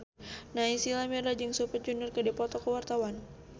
Naysila Mirdad jeung Super Junior keur dipoto ku wartawan